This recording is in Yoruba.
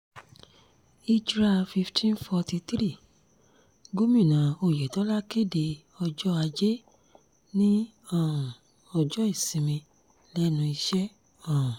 hijrah 1543 gomina oyetola kéde ọjọ́ ajé ní um ọjọ́ ìsinmi lẹ́nu iṣẹ́ um